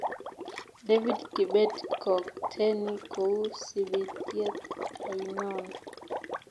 David kibet kookteni kou sibityet ainon